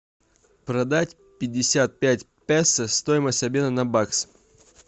продать пятьдесят пять песо стоимость обмена на бакс